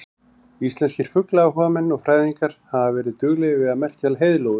Íslenskir fuglaáhugamenn og fræðingar hafa verið duglegir við að merkja heiðlóur.